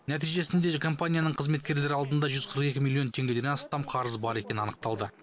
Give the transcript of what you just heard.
нәтижесінде компания қызметкерлері алдында жүз қырық екі миллион теңгеден астам қарызы бар екені анықталды